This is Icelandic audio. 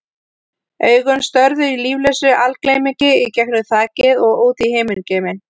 Augun störðu í líflausu algleymi í gegnum þakið og út í himingeiminn.